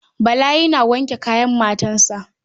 Bala yana wanke kayan matansa.